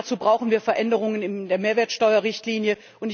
Dazu brauchen wir Veränderungen in der Mehrwertsteuer Richtlinie.